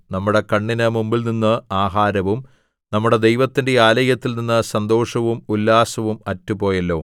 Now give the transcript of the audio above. നമ്മുടെ കണ്ണിന് മുമ്പിൽനിന്ന് ആഹാരവും നമ്മുടെ ദൈവത്തിന്റെ ആലയത്തിൽനിന്ന് സന്തോഷവും ഉല്ലാസവും അറ്റുപോയല്ലോ